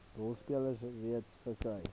rolspelers reeds verkry